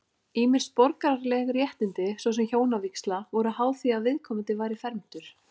Ýmis borgaraleg réttindi, svo sem hjónavígsla, voru háð því að viðkomandi væri fermdur.